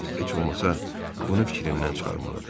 Yox, heç olmasa bunu fikrindən çıxarmalıdır.